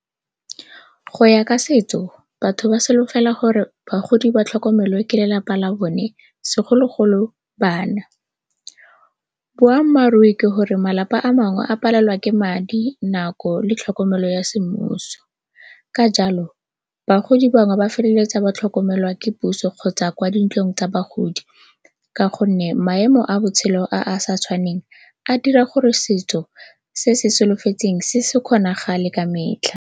Go ya ka setso batho ba solofela gore bagodi ba tlhokomelwe ke lelapa la bone segologolo bana. Boammaaruri ke gore malapa a mangwe a palelwa ke madi, nako le tlhokomelo ya semmuso ka jalo bagodi bangwe ba feleletsa ba tlhokomelwa ke puso kgotsa kwa dintlong tsa bagodi, ka gonne maemo a botshelo a a sa tshwaneng a dira gore setso se se solofetsweng se se kgonagale ka metlha.